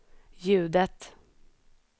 ljudet